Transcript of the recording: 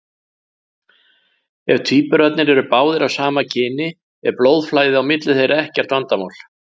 Ef tvíburarnir eru báðir af sama kyni er blóðflæði á milli þeirra ekkert vandamál.